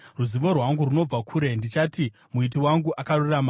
Ruzivo rwangu runobva kure; ndichati Muiti wangu akarurama.